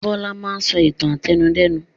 Bọlá máa ń sọ ìtàn àtẹnudẹ́nu.